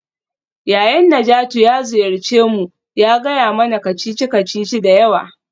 Yayan Najatu ya ziyarce mu ya gaya mana kacici-kacici da yawa.